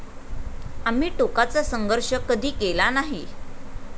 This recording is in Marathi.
आम्ही टोकाचा संघर्ष कधी केला नाही.